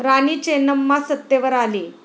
राणी चेन्नम्मा सत्तेवर आली.